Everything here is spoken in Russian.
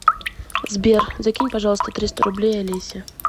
сбер закинь пожалуйста триста рублей олесе